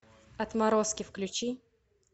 отморозки включи